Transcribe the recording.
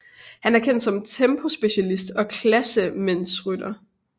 Han er kendt som tempospecialist og klassementsrytter